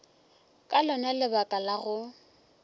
ka lona lebaka la go